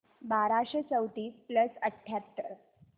बाराशे चौतीस प्लस अठ्याहत्तर